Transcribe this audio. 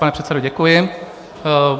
Pane předsedo, děkuji.